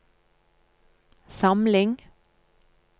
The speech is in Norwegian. samling